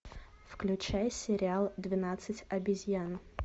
включай сериал двенадцать обезьян